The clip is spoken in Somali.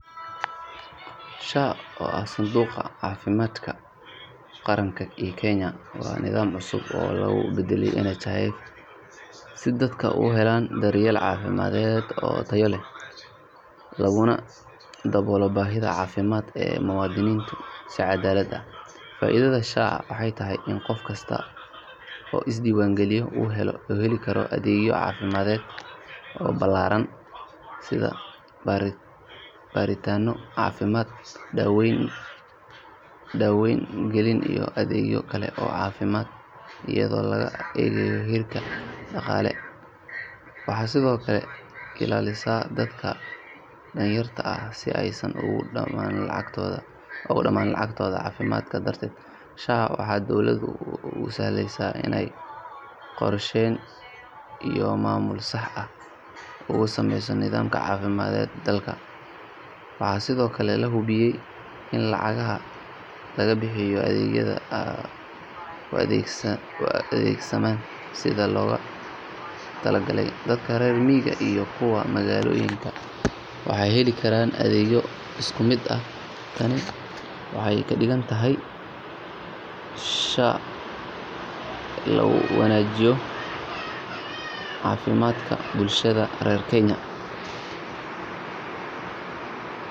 SHA oo ah Sanduuqa Caafimaadka Qaranka ee Kenya waa nidaam cusub oo lagu beddelay NHIF si dadka u helaan daryeel caafimaad oo tayo leh laguna daboolo baahiyaha caafimaad ee muwaadiniinta si cadaalad ah. Faa'iidada SHA waxay tahay in qof kasta oo isdiiwaangeliya uu heli karo adeegyo caafimaad oo ballaaran sida baaritaanno caafimaad, daaweyn, qalliin iyo adeegyo kale oo caafimaad iyadoon laga eegayn heerkiisa dhaqaale. Waxay sidoo kale ilaalisaa dadka danyarta ah si aysan uga dhamaan lacagtooda caafimaadka darteed. SHA waxay dowladda u sahlaysaa inay qorsheyn iyo maamul sax ah u samayso nidaamka caafimaadka dalka. Waxaa sidoo kale la hubiyaa in lacagaha lagu bixiyo adeegyada ay u adeegsamaan sidii loogu talagalay. Dadka reer miyiga iyo kuwa magaalooyinka waxay heli karaan adeeg isku mid ah. Tani waxay ka dhigan tahay in SHA ay keentay isbeddel la taaban karo oo lagu wanaajinayo caafimaadka bulshada Kenya.